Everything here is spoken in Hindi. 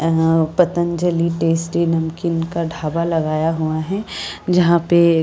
पतंजलि टेस्टी नमकीन का ढाबा लगाया हुआ है जहां पे --